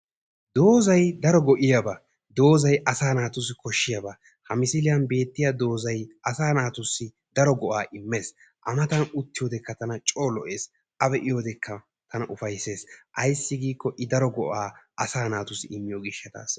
Doozayi daro go"iyaba doozayi asaa naatussi koshshiyaba. Ha misiliyan beettiya doozayi asaa naatussi daro go"aa immes. A matan uttiyodekka tana coo lo"es. A be"iyodekka tana ufayisses. Ayssi giikkoo i daro go"aa asaa naatussi immiyo gishshataassa.